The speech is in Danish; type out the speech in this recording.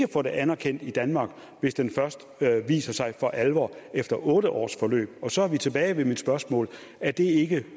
få det anerkendt i danmark hvis den først viser sig for alvor efter otte års forløb og så er vi tilbage ved mit spørgsmål er det ikke